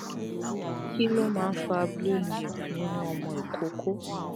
kí ló máa ń fa blue lip nínú ọmọ ikoko?